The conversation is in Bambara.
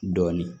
Dɔɔnin